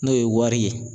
N'o ye wari ye